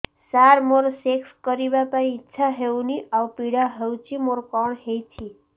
ସାର ମୋର ସେକ୍ସ କରିବା ପାଇଁ ଇଚ୍ଛା ହଉନି ଆଉ ପୀଡା ହଉଚି ମୋର କଣ ହେଇଛି